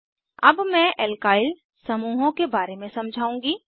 अब मैं एल्काइल समूहों के बारे में समझाउंगी